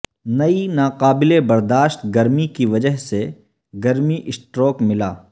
کئی ناقابل برداشت گرمی کی وجہ سے گرمی اسٹروک ملا